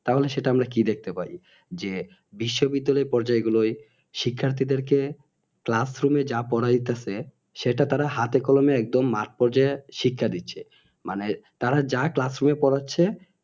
তাহলে সেটা আমরা কি দেখতে পাই যে বিশ্ব বিদ্যালয় পর্যায় গুলয় শিক্ষার্থীদের কে classroom যা পড়াইতেছে সেটা তারা হাতে কলমে একদম মার্কপর্যায় শিক্ষা দিচ্ছে মানে তারা যা classroom পড়াচ্ছে